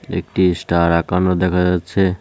একটি স্টার আঁকানো দেখা যাচ্ছে।